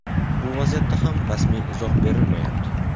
Bu vaziyatga ham rasmiy izoh berilmayapti.